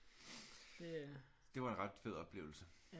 Det var en ret fed oplevelse